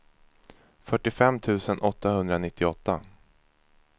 fyrtiofem tusen åttahundranittioåtta